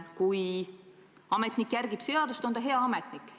Kui ametnik järgib seadust, on ta hea ametnik.